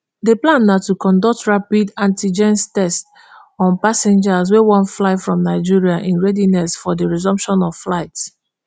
di plan na to conduct rapid antigens test [rdt] on passengers wey wan fly from nigeria in readiness for di resumption of flights